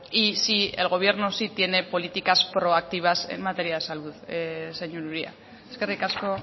y sí el gobierno sí tiene políticas proactivas en materia de salud señor uria eskerrik asko